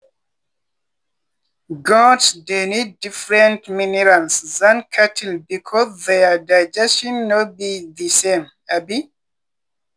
goats dey need different minerals than cattle because their digestion no be the same. um